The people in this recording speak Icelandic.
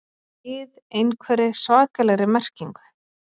ið einhverri svakalegri merkingu.